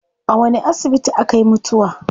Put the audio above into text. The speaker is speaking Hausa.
A wani asibiti akayi mutuwa?